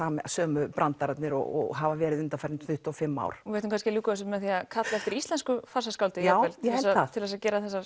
sömu brandararnir og hafa verið undanfarin tuttugu og fimm ár við ættum kannski að ljúka þessu með því að kalla eftir íslensku já ég held það til að gera þessar